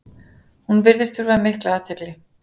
Hún virðist þurfa mikla athygli.